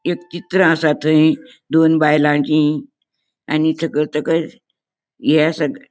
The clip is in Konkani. एक चित्र असा दोन बायलांची आणि ताका तेका ये असा.